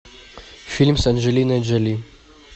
фильм с анджелиной джоли